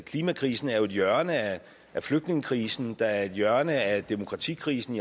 klimakrisen er jo et hjørne af flygtningekrisen der er et hjørne af demokratikrisen